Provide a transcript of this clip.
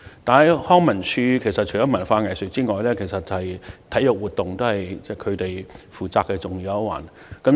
但是，康文署除負責文化藝術活動外，其實體育活動亦是重要一環。